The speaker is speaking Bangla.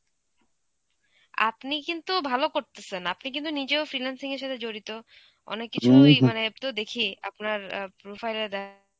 আপনি কিন্তু ভালো করতেসেন, আপনি কিন্তু নিজেও freelancing এর সাথে জড়িত, অনেক কিছুই মানে আমি তো দেখি আপনার অ্যাঁ profile এ দেন